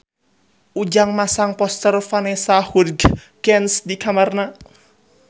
Ujang masang poster Vanessa Hudgens di kamarna